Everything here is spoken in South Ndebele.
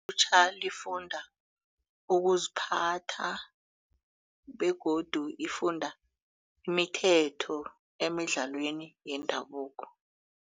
Ilutjha lifunda ukuziphatha begodu lifunda imithetho emidlalweni yendabuko.